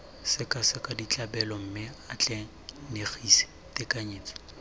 sekaseka ditlabelo mme atlenegise tekanyetso